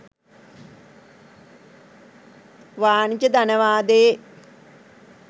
වාණිජ ධනවාදයේ